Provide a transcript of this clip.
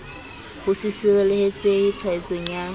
ho se sireletsehe tshwaetsong ya